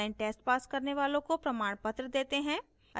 online test pass करने वालों को प्रमाणपत्र देते हैं